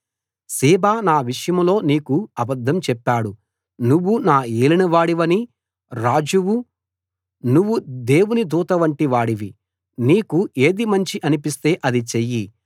Ziba నా విషయంలో నీకు అబద్ధం చెప్పాడు నువ్వు నా ఏలినవాడివి రాజువు నువ్వు దేవుని దూతవంటి వాడివి నీకు ఏది మంచి అనిపిస్తే అది చెయ్యి